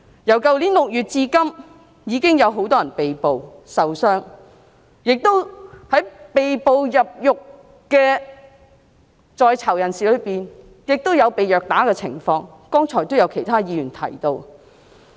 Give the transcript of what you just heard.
由去年6月至今，已經有很多人被捕、受傷，而被捕入獄的在囚人士中，亦都有被虐打，剛才已有其他議員提到。